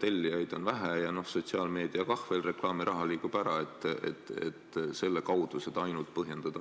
tellijaid on vähe ja sotsiaalmeedia ka veel, et reklaamiraha liigub ära, selles suhtes, et ainult selle kaudu on võimalik seda põhjendada.